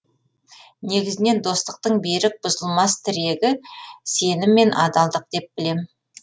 негізінен достықтың берік бұзылмас тірегі сенім мен адалдық деп білемін